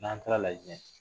N'an taara Lajinɛ